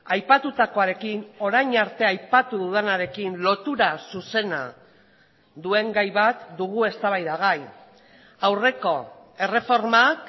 aipatutakoarekin orain arte aipatu dudanarekin lotura zuzena duen gai bat dugu eztabaidagai aurreko erreformak